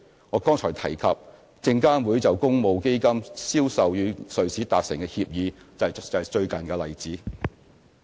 我剛才提及，證監會就公募基金銷售與瑞士達成的協議，便是最近的例子。